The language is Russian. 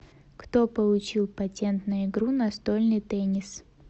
кто получил патент на игру настольный теннис